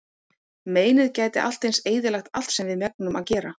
Meinið gæti allt eins eyðilagt allt sem við megnum að gera.